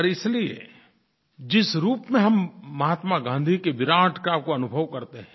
और इसलिये जिस रूप में हम महात्मा गाँधी की विराटता को अनुभव करते हैं